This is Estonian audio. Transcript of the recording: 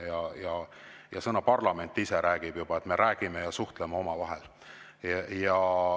Sõna "parlament" ise juba sellele, et me räägime ja suhtleme omavahel.